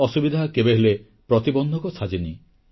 ଅସୁବିଧା କେବେହେଲେ ପ୍ରତିବନ୍ଧକ ସାଜେନି